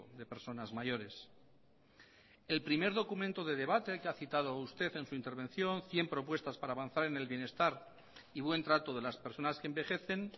de personas mayores el primer documento de debate que ha citado usted en su intervención cien propuestas para avanzar en el bienestar y buen trato de las personas que envejecen